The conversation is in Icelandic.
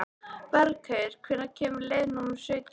Bergheiður, hvenær kemur leið númer sautján?